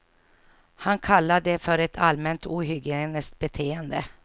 Han kallar det för ett allmänt ohygieniskt beteende.